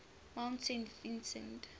mount saint vincent